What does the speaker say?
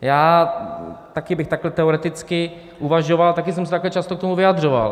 Já taky bych takhle teoreticky uvažoval, taky jsem se takhle často k tomu vyjadřoval.